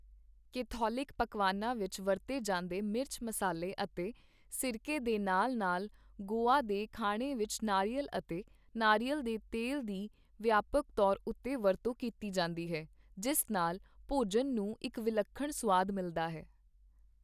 Catholic ਪਕਵਾਨਾਂ ਵਿੱਚ ਵਰਤੇ ਜਾਂਦੇ ਮਿਰਚ, ਮਸਾਲੇ ਅਤੇ ਸਿਰਕੇ ਦੇ ਨਾਲ ਨਾਲ ਗੋਆ ਦੇ ਖਾਣੇ ਵਿੱਚ ਨਾਰੀਅਲ ਅਤੇ ਨਾਰੀਅਲ ਦੇ ਤੇਲ ਦੀ ਵਿਆਪਕ ਤੌਰ ਉੱਤੇ ਵਰਤੋਂ ਕੀਤੀ ਜਾਂਦੀ ਹੈ, ਜਿਸ ਨਾਲ ਭੋਜਨ ਨੂੰ ਇੱਕ ਵਿਲੱਖਣ ਸੁਆਦ ਮਿਲਦਾ ਹੈ।